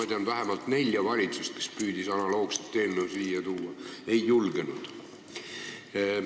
Ma tean, et vähemalt neli valitsust on püüdnud analoogset eelnõu siia tuua, aga nad ei julgenud.